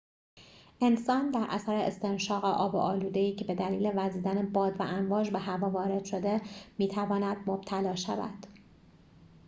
انسان در اثر استنشاق آب آلوده‌ای که به دلیل وزیدن باد و امواج به هوا وارد شده می‌تواند مبتلا شود